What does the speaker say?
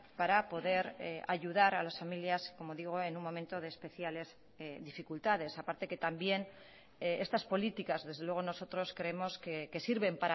para poder ayudar a las familias como digo en un momento de especiales dificultades a parte que también estas políticas desde luego nosotros creemos que sirven